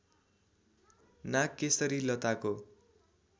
नागकेशरी लताको